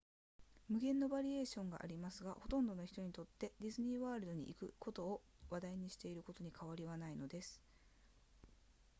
無限のバリエーションがありますがほとんどの人にとってディズニーワールドに行くことを話題にしていることに変わりはないのです